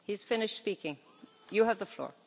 Kiitoksia, vastaan kyllä kysymykseen.